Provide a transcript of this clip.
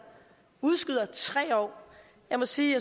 udskyder i tre år jeg må sige